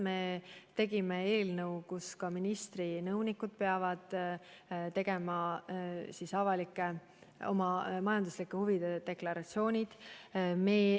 Me koostasime eelnõu, et ka ministri nõunikud peavad esitama oma majanduslike huvide deklaratsiooni.